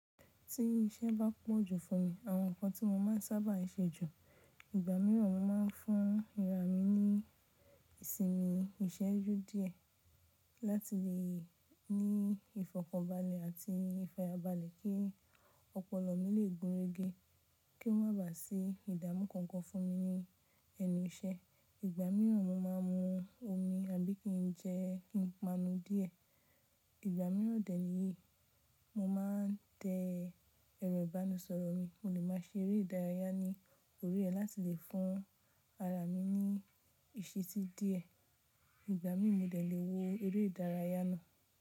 Tí iṣẹ́ bá pọ̀ jù fún mi, àwọn nǹkan tí mo máa ń sábà ṣe jù. Ìgbà mìíràn mo máa ń fún ara mi ní ìsinmi ìṣẹ́jú díẹ̀ láti lè ní ìfọ̀kànbalẹ̀ àti ìfayabalẹ̀ kí ọpọlọ mi lè gúnrégé kí ó má ba à sí ìdáàmú kankan fún mi ní ẹnu iṣẹ́. Ìgbà mìíràn mo máa ń mu omi àbí kí n jẹ ìpanu díẹ̀. Ìgbà mìíràn dẹ̀ níyi, mo máa ń tẹ ẹ̀rọ ìbánisọ̀rọ̀ mi, mo lè máa ṣe eré ìdárayá ní orí ẹ̀ láti lè fún ara mi ní ìsití díẹ̀. Ìgbà mìí, mo dẹ̀ lè wo eré ìdárayá náà.